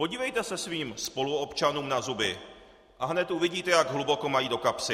Podívejte se svým spoluobčanům na zuby a hned uvidíte, jak hluboko mají do kapsy.